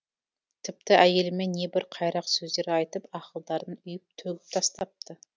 тіпті әйеліме небір қайрақ сөздер айтып ақылдарын үйіп төгіп тастапты